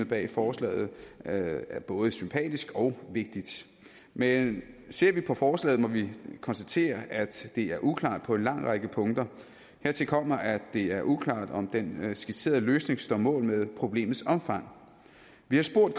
bag forslaget er er både sympatisk og vigtig men ser vi på forslaget må vi konstatere at det er uklart på en lang række punkter hertil kommer at det er uklart om den skitserede løsning står mål med problemets omfang vi har spurgt